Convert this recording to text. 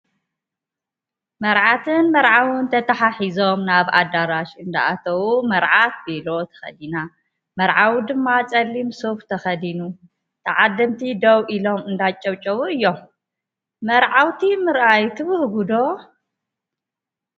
መርዓትን መርዓውን ተታሓሒዞም ናብ ኣዳራሽ እንዳኣተው መርዓት ቬሎ ተከዲና መርዓዊ ድማ ፀሊም ሱፍ ተከዲኑ ተዓደምቲ ደው ኢሎም እንዳጨብጨቡ እዮም። መርዓውቲ ምርኣይ ትብህጉ ዶ?